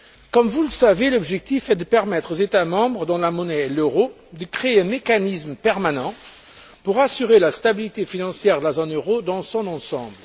Comme vous le savez, l'objectif est de permettre aux États membres dont la monnaie est l'euro de créer un mécanisme permanent pour assurer la stabilité financière de la zone euro dans son ensemble.